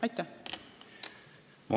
Aitäh!